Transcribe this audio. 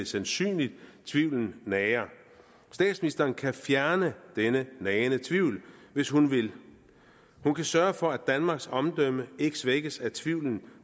sandsynligt tvivlen nager statsministeren kan fjerne denne nagende tvivl hvis hun vil hun kan sørge for at danmarks omdømme ikke svækkes af tvivlen